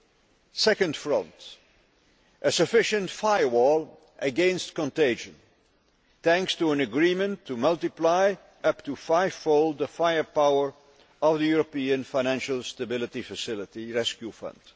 The second front a sufficient firewall against contagion, thanks to an agreement to multiply up to five fold the firepower of the European Financial Stability Facility rescue fund.